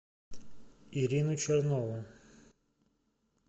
ирину чернову